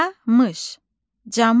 Camış, camış.